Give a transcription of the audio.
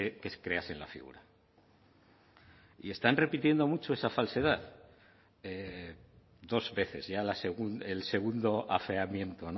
que creasen la figura y están repitiendo mucho esa falsedad dos veces ya el segundo afeamiento